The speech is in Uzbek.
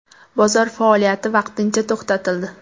Bozor faoliyati vaqtincha to‘xtatildi.